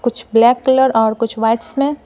कुछ black colour और कुछ वाइट्स में--